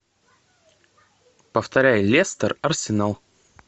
повторяй лестер арсенал